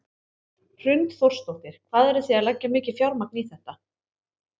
Hrund Þórsdóttir: Hvað eru þið að leggja mikið fjármagn í þetta?